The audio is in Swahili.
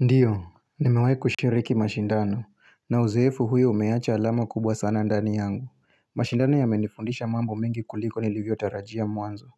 Ndiyo nimewahi kushiriki mashindano na uzeefu huyo umeacha alama kubwa sana ndani yangu mashindano yamenifundisha mambo mengi kuliko nilivyo tarajia mwanzo